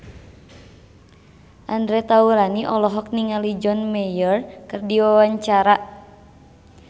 Andre Taulany olohok ningali John Mayer keur diwawancara